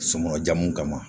Sokɔnɔ jamu kama